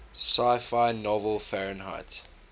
sci fi novel fahrenheit